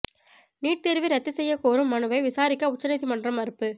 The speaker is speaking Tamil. நீட் தேர்வை ரத்து செய்யக் கோரும் மனுவை விசாரிக்க உச்ச நீதிமன்றம் மறுப்பு